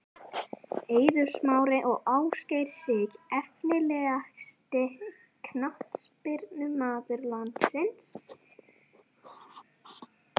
Eiður Smári og Ásgeir Sig Efnilegasti knattspyrnumaður landsins?